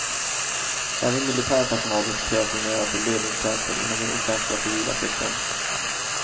Även militär personal rekryteras numera till ledningstjänster inom den offentliga civila sektorn.